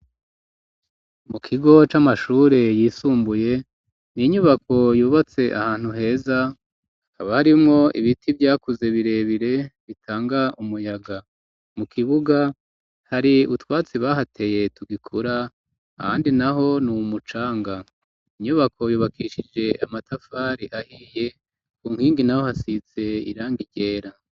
Mu kigo c'amashure yisumbuye, ni inyubako yubatse ahantu heza, hakaba harimwo ibiti vyakuze birebire bitanga umuyaga ,mu kibuga hari ubutwatsi bahateye tugikura, ahandi naho ni u mucanga inyubako yubakishije amatafari ahiye ,ku nkingi naho hasize irangi ryera.